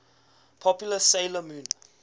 popular 'sailor moon